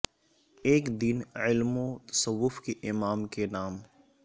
ایک دن علم و تصوف کے امام کے نام